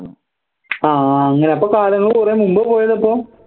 ആഹ് അങ്ങനെ അപ്പൊ കാലങ്ങൾ കുറെ മുമ്പ് പോയതാ അപ്പോ